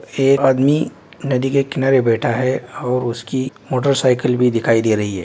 एक आदमी नदी के किनारे बैठा है और उसकी मोटर साइकिल भी दिखाई दे रही है।